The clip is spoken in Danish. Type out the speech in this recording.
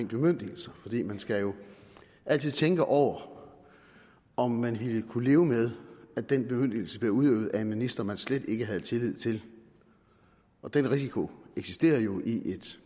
bemyndigelser man skal jo altid tænke over om man ville kunne leve med at den bemyndigelse blev udøvet af en minister man slet ikke havde tillid til og den risiko eksisterer jo i et